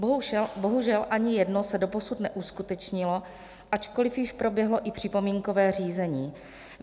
Bohužel ani jedno se doposud neuskutečnilo, ačkoliv již proběhlo i připomínkové řízení.